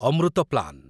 Amrit plan